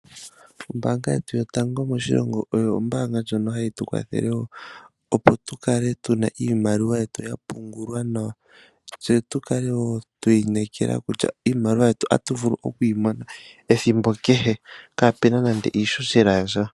Ombaanga yetu yotango moshilongo oyo ombaanga ndjono hayi tu kwathele, opo tu kale tuna iimaliwa yetu ya pungulwa nawa, tse tu kale woo twa inekela, kutya iimaliwa yetu otatu vulu oku yi mona, ethimbo kehe, kaapuna nande iihohela yasha.